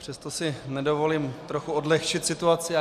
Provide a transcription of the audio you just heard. Přesto si dovolím trochu odlehčit situaci.